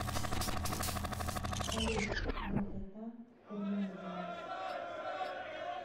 салют долгота курляндия